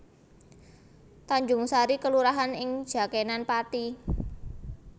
Tanjungsari kelurahan ing Jakenan Pathi